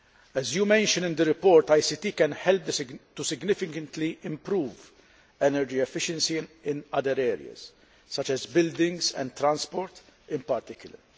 As you mention in the report, ICT can help to significantly improve energy efficiency in other areas, such as buildings and transport in particular.